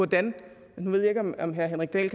det herre henrik dahl